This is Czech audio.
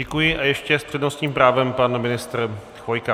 Děkuji a ještě s přednostním právem pan ministr Chvojka.